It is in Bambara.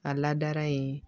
A ladara yen